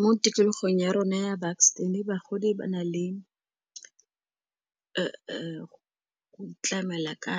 Mo tikologong ya rona ya bagodi ba na le go tlamela ka